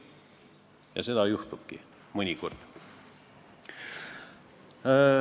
Ja seda juhtubki, mõnikord.